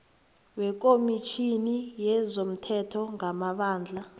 wekomitjhini yezomthetho ngamabandla